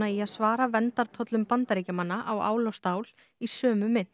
í að svara verndartollum Bandaríkjamanna á ál og stál í sömu mynt